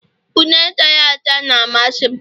Une chara acha na-amasị m